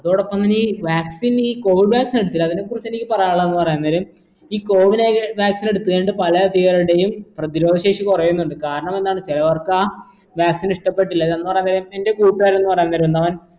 അതോടപ്പം തന്നെ ഈ vaccine ഈ covid vaccine എടുത്തിനാ അതിനെ കുറിച്ചെനിക്കി പറയാനുള്ള നേരം ഈ cowin vaccine എടുത്ത് കഴിഞ്ഞിട്ട് പല അതികാളുടെയും പ്രതിരോധ ശേഷി കുറയുന്നുണ്ട് കാരണമെന്താണ് ചിലവർക്കാ vaccine ഇഷ്ടപ്പെട്ടില്ല എന്ന് പറയാ നേരം എന്റെ കൂട്ടുകാരെന്ന് പറയാ നേരെന്താ അവൻ